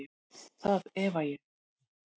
Það efa ég.